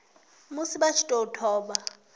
musi vha tshi tou thoma